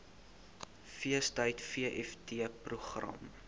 feestyd vft program